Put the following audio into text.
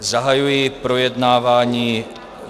Zahajuji projednávání